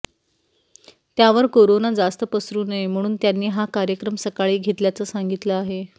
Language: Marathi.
त्यावर कोरोना जास्त पसरू नये म्हणून त्यांनी हा कार्यक्रम सकाळी घेतल्याचं सांगितलं आहे